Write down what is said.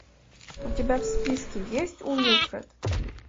у тебя в списке есть уилфред